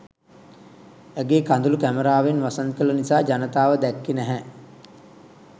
ඇගේ කඳුළු කැමරාවෙන් වසන් කළ නිසා ජනතාව දැක්කෙ නැහැ.